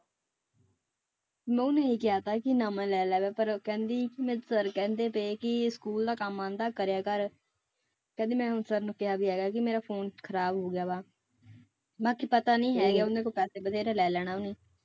ਮੈਂ ਉਹਨੂੰ ਇਹ ਕਹਿ ਦਿੱਤਾ ਕਿ ਨਵਾਂ ਲੈ ਲਵੇ ਪਰ ਕਹਿੰਦੀ ਸਰ ਕਹਿੰਦੇ ਪਏ ਕਿ ਸਕੂਲ ਦਾ ਕੰਮ ਆਉਂਦਾ ਕਰਿਆ ਕਰ, ਕਹਿੰਦੀ ਮੈਂ ਹੁਣ ਸਰ ਨੂੰ ਕਿਹਾ ਵੀ ਹੈਗਾ ਕਿ ਮੇਰਾ phone ਖ਼ਰਾਬ ਹੋ ਗਿਆ ਵਾ ਬਾਕੀ ਪਤਾ ਨੀ ਹੈਗਾ ਉਹਨਾਂ ਕੋਲ ਪੈਸੇ ਬਥੇਰੇ ਲੈ ਲੈਣਾ ਉਹਨੇ।